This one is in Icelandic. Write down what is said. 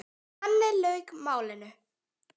Þannig lauk málinu.